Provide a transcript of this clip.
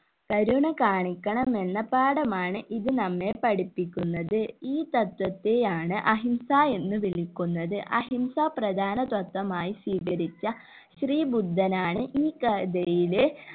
കരുണ കാണിക്കണമെന്ന പാഠമാണ് ഇത് നമ്മെ പഠിപ്പിക്കുന്നത് ഈ തത്വത്തെ ആണ് അഹിംസ എന്ന് വിളിക്കുന്നത് അഹിംസ പ്രധാന തത്വമായി സ്വീകരിച്ച ശ്രീബുദ്ധനാണ് ഈ കഥയിലെ